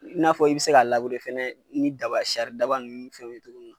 I n'a fɔ i bɛ se ka fana ni daba ni daba ninuni fɛnw ye cogo min na.